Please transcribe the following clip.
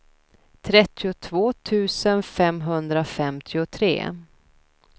trettiotvå tusen femhundrafemtiotre